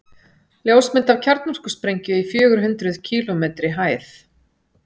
ljósmynd af kjarnorkusprengju í fjögur hundruð kílómetri hæð